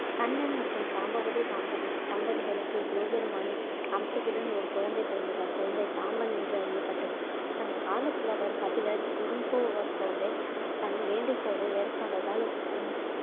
கண்ணன் மற்றும் சாம்பவதி தம்பதி தம்பதிகளுக்கு சிவபெருமானின் அம்சத்துடன் ஒரு குழந்தை பிறந்தது அக்குழந்தை சாம்பன் என்று அறியப்பட்டது சங்க கால புலவர் கபிலர் தன் வேண்டுகோளை ஏற்காததால் உன்